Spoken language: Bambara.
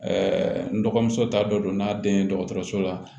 n dɔgɔmuso ta dɔ don n'a den ye dɔgɔtɔrɔso la